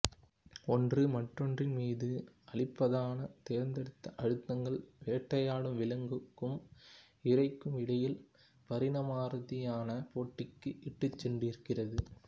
ஒன்று மற்றொன்றின் மீது அளிப்பதான தேர்ந்தெடுத்த அழுத்தங்கள் வேட்டையாடும் விலங்குக்கும் இரைக்கும் இடையில் பரிணாமரீதியான போட்டிக்கு இட்டுச் சென்றிருக்கிறது